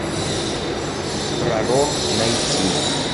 пророк найти